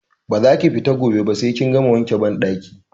Ba za ki fita gobe ba sai kin gama wanke banɗaki!